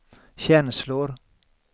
känslor